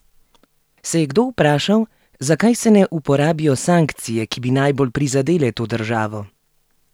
Se je kdo vprašal, zakaj se ne uporabijo sankcije, ki bi najbolj prizadele to državo?